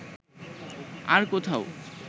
আর কোথাও